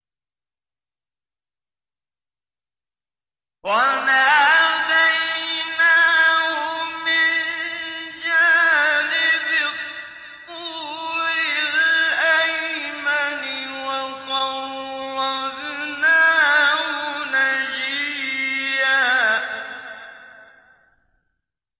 وَنَادَيْنَاهُ مِن جَانِبِ الطُّورِ الْأَيْمَنِ وَقَرَّبْنَاهُ نَجِيًّا